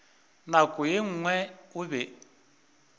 nako ye nngwe o be